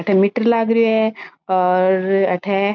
अठे मीटर लाग रियो है और अठे --